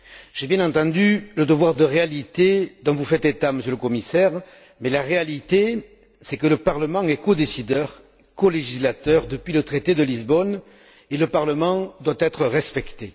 J'ai bien entendu le devoir de réalité dont vous faites état, Monsieur le Commissaire, mais la réalité, c'est que le Parlement est codécideur, colégislateur depuis le traité de Lisbonne, et le Parlement doit être respecté.